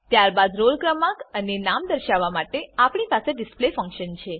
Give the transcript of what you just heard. ત્યારબાદ રોલ ક્રમાંક અને નામ દર્શાવવા માટે આપણી પાસે ડિસ્પ્લે ફંક્શન છે